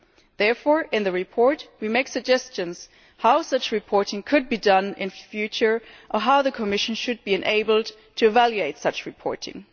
Therefore, in the report, we make suggestions as to how such reporting could be done in future, and how the Commission should be enabled to evaluate such reporting.